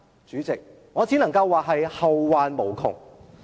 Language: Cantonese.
主席，我只能說這將會後患無窮。